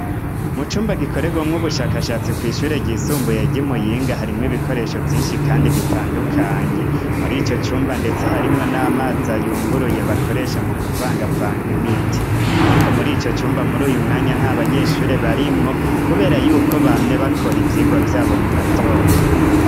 M cumba gikoregwa mw'ubushakashatsi ku ishure ryusumbuye ci Muyinga harimwo ibikoresho vyinshi kandi bitandukanye muri ico cumba ndetse harimwo n'amazi ayunguruye bakoresha mu kuvanga vanga imiti ariko muri ico cyumba muri uyu mwanya nta banyeshure barimwo kubera yuko bamye bakora ivyigwa vyabo mu gatondo.